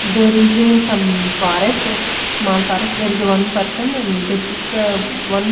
there is a some forest small forest there is a one person and they pick one--